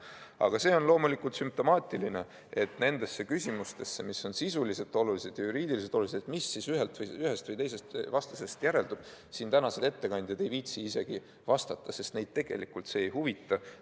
Aga see on loomulikult sümptomaatiline, et nendele küsimustele, mis on sisuliselt ja juriidiliselt olulised, et mis siis ühest või teisest vastusest järeldub, ei viitsinud tänased ettekandjad isegi vastata, sest neid tegelikult see ei huvita.